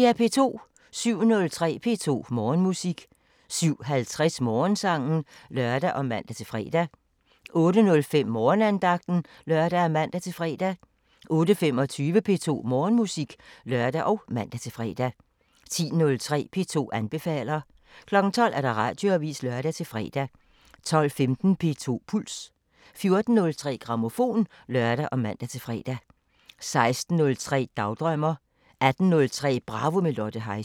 07:03: P2 Morgenmusik 07:50: Morgensangen (lør og man-fre) 08:05: Morgenandagten (lør og man-fre) 08:25: P2 Morgenmusik (lør og man-fre) 10:03: P2 anbefaler 12:00: Radioavisen (lør-fre) 12:15: P2 Puls 14:03: Grammofon (lør og man-fre) 16:03: Dagdrømmer 18:03: Bravo – med Lotte Heise